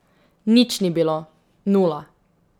Nič ni bilo, nula.